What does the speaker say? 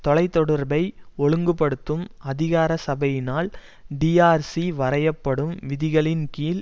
தொலை தொடர்பை ஒழுங்கு படுத்தும் அதிகார சபையினால் டிஆர்சி வரையப்படும் விதிகளின் கீழ்